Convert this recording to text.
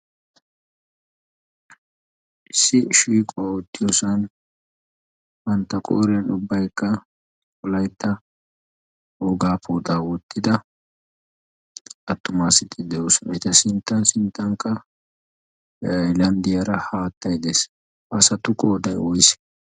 Issi shiiquwa oottiyoosan bantta qooren ubbaikka wolaitta woogaa pooxaa wottida attumaa de7oosona. eta sinttan sinttankka hailanddiyaara haattai de7es. asatukka qoodai woyiise?